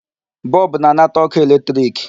Bulb na-anata ọkụ electric.